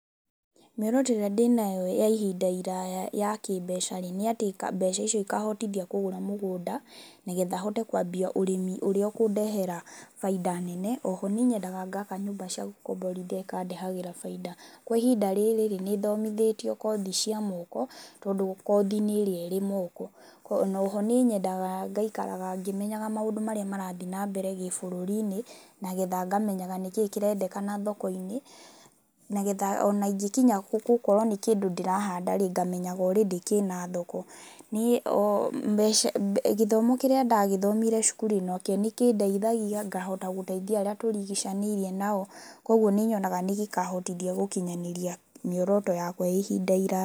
Mĩoroto ĩrĩa ndĩnayo ya ihinda iraya ya kĩmbeca rĩ, nĩ atĩ ka mbeca icio ikahotithia kũgũra mũgũnda nĩgetha hote kwambia ũrĩmi ũrĩa ũkũndehera faida nene. Oho nĩ nyendaga ngaka nyũmba cia gũkomborithia ikandehagĩra faida. Kwa ihinda rĩrĩ rĩ, nĩt homithĩtio kothi cia moko tondũ kothi nĩ ĩrĩa ĩ moko, na oho nĩ nyendaga ngaikara ngĩmenyaga maũndũ marĩa marathiĩ nambere gĩbũrũri-inĩ, na getha ngamenyaga nĩkĩĩ kĩrendekana thoko-inĩ, na getha ona ingĩkinya gũ gũkorwo nĩ kĩndũ ndĩrahandarĩ ngamenyaga already kĩna thoko. Nĩ mbeca, gĩthomo kĩrĩa ndagĩthomire cukuru nakĩo no kĩndeithagia ngahota gũteithia arĩa tũrigicanĩirie nao, kw\oguo nĩ nyonaga nĩ gĩkahotithia gũkinyanĩria mĩoroto yakwa ya ihinda iraya.